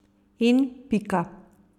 In pika.